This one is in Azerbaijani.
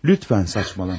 Lütfən, saçmalama.